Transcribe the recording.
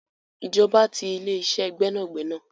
Ìjọba ti ile-ise gbẹ́nàgbẹ́nà.